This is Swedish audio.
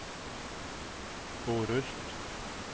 Orust